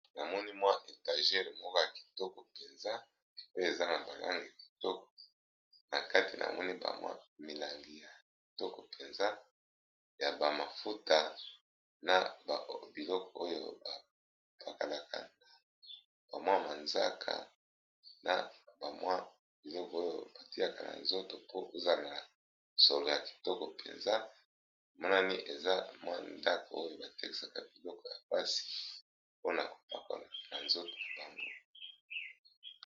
Na moni mwa etagere moko ya kitoko mpenza pe eza na bakangi a kitoko na kati namoni bamwa milangi ya kitoko mpenza ya bamafuta na biloko oyo bapakalakabamwa manzaka na bamwa biloko oyo batiaka na nzoto po ozanaa solo ya kitoko mpenza mwanani eza mwa ndaka oyo batekesaka biloko ya mpasi mpona kopakala na nzoto bango.